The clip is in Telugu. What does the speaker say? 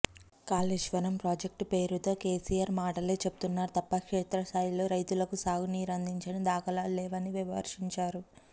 కాళేశ్వరం ప్రాజెక్టు పేరుతో కేసీఆర్ మాటలే చెప్తు న్నారు తప్పా క్షేత్రస్థాయిలో రైతులకు సాగు నీరందిన దాఖలాలు లేవని విమర్శించారు